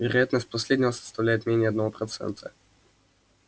вероятность последнего составляет менее одного процента